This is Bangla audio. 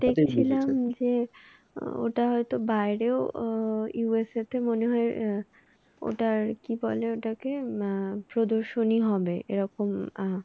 দেখছিলাম যে আহ ওটা হয় তো বাইরেও আহ USA তে মনে হয় আহ ওটা কি বলে ওটাকে আহ প্রদর্শনী হবে এরকম আহ